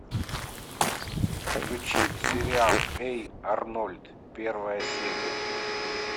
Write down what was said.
включи сериал эй арнольд первая серия